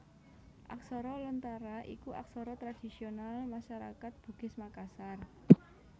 Aksara Lontara iku aksara tradhisional masarakat Bugis Makassar